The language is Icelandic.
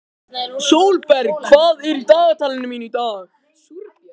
Sólberg, hvað er í dagatalinu mínu í dag?